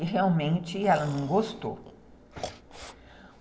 e realmente ela não gostou.